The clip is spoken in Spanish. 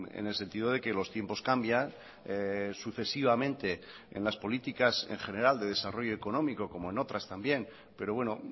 en el sentido de que los tiempos cambian sucesivamente en las políticas en general de desarrollo económico como en otras también pero bueno